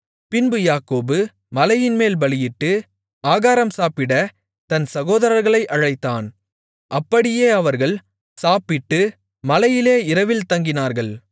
பின்பு யாக்கோபு மலையின்மேல் பலியிட்டு ஆகாரம் சாப்பிடத் தன் சகோதரர்களை அழைத்தான் அப்படியே அவர்கள் சாப்பிட்டு மலையிலே இரவில் தங்கினார்கள்